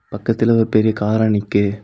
பக்கத்துல ஒரு பெரிய கார்அ நிக்கு.